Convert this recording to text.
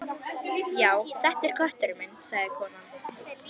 Já, þetta er kötturinn minn sagði konan.